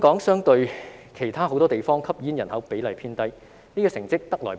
相比其他很多地方，香港的吸煙人口比例偏低，這個成績得來不易。